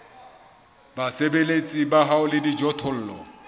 basebeletsi ba hao le dijothollo